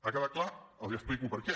ha quedat clar els explico per què